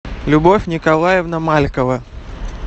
любовь николаевна маликова